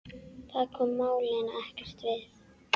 Það kom málinu ekkert við.